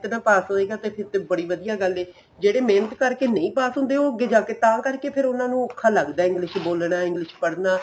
ਪਾਸ ਹੋਏਗਾ ਨਾ ਫੇਰ ਤਾਂ ਬੜੀ ਵਧੀਆ ਗੱਲ ਏ ਜਿਹੜੇ ਮਿਹਨਤ ਕਰਕੇ ਨਹੀਂ ਪਾਸ ਹੁੰਦੇ ਉਹ ਜਾ ਕੇ ਤਾਂ ਕਰਕੇ ਫੇਰ ਉਹਨਾ ਨੂੰ ਔਖਾ ਲੱਗਦਾ English ਬੋਲਨਾ English ਪੜ੍ਹਣਾ